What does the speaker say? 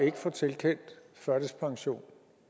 ikke få tilkendt førtidspension